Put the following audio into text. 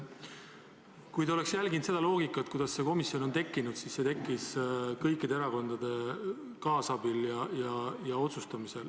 Kui te oleks jälginud seda loogikat, kuidas see komisjon on tekkinud, siis te teaksite, et see tekkis kõikide erakondade kaasabil ja otsusel.